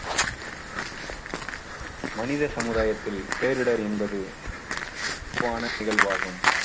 மனித சமுதாயத்தில் பேரிடர் என்பது பொதுவான நிகழ்வாகும்